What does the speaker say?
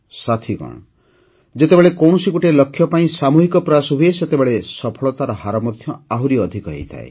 ସାଥିଗଣ ଯେତେବେଳେ କୌଣସି ଗୋଟିଏ ଲକ୍ଷ୍ୟ ପାଇଁ ସାମୂହିକ ପ୍ରୟାସ ହୁଏ ସେତେବେଳେ ସଫଳତାର ହାର ମଧ୍ୟ ଆହୁରି ଅଧିକ ହୋଇଥାଏ